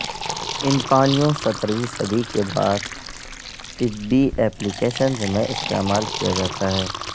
ان پانیوں سترہویں صدی کے بعد طبی ایپلی کیشنز میں استعمال کیا جاتا ہے